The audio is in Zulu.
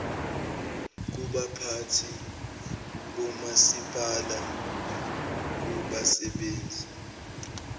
kubaphathi bomasipala kubasebenzi